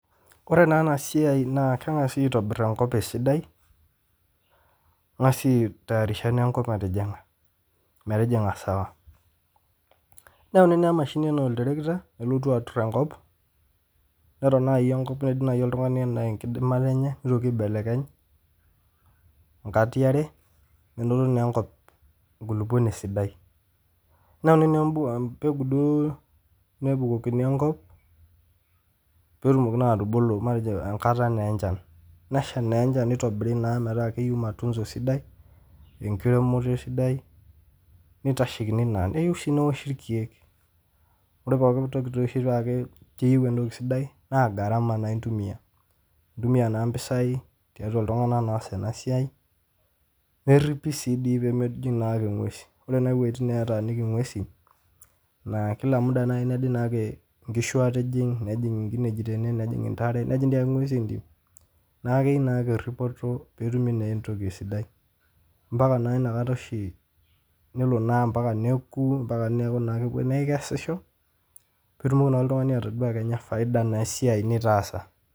Kore naa ena siaai naa kegasi aitobirr enkop esidai, ingas aitayarisha enkop natijinga metijinga sawa, neyauni naa mashinini anaa olterekita nelotu aturr enkop neton nai enkop enaa enkidimata enye, neitoki aibelekeny nkatii are, menoto naa enkop nkuluponi sidai, inyang'u naa impegu duo nebukokini enkop peetumoki naa atubulu matejo enkata naa enchan, nesha naa enchan neitobiri naa metaa keyeu matunso sidai enkiremore sidai neitashekini naa, neyeu sii neishi irkeek, ore pookin toki peisho taake keyeu entoki sidai naa gharama intumiya, intumiya naa mpisaii tiatua ltungana naa oas ena siaai, neripi sii dei pemejing' naake enguesi, ore nai wejitin nataaniki ngwesin naa kila muda neidim inkishu atijing, nejing inkineji tene, nejing' intare netii dei ingwesi entim, naa keyeu naake eripoto peetumi naa entoki sidai mpaka naa inakata oshii nelo naa mpaka nekuu mpaka neaku naa keweni aikesisho netumoki naa ltungani atodua kenya efaida naa esiaii nitaasa.